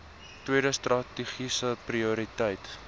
tweede strategiese prioriteit